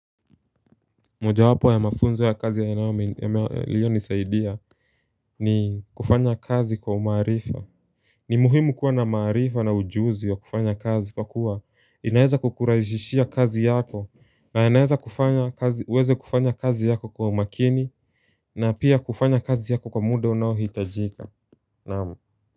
Moja wapo ya mafunzo ya kazi yanayo yaliyo nisaidia ni kufanya kazi kwa umaarifa ni muhimu kuwa na maarifa na ujuzi wa kufanya kazi kwa kuwa inaeza kukurahisishia kazi yako na inaeza kufanya kazi uweze kufanya kazi yako kwa umakini na pia kufanya kazi yako kwa muda unao hitajika naam.